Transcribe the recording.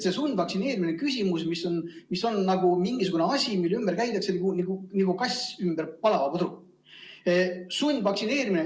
Sundvaktsineerimine on küsimus, mis on nagu mingisugune asi, mille ümber käiakse nagu kass ümber palava pudru.